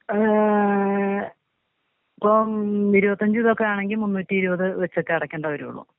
ഏ ഇപ്പൊ ഇരുവത്തഞ്ച് ഇതൊക്കെ ആണെങ്കി മുന്നൂറ്റി ഇരുവത് വെച്ച് അടക്കേണ്ടി വരൊള്ളു.